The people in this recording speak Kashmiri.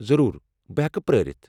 ضروٗر۔ بہٕ ہیٚکہٕ پرٲرِتھ۔